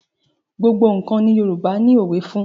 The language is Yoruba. Gbogbo nǹkan ni Yorùbá ni òwe fún.